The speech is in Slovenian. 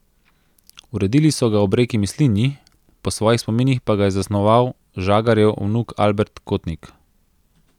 Uredili so ga ob reki Mislinji, po svojih spominih pa ga je zasnoval žagarjev vnuk Albert Kotnik.